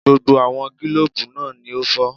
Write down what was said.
Gbogbo àwọn gílòbú náà ni ó fọ́